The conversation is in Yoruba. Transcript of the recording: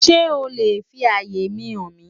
Sé o le fi àyè mi hàn mí?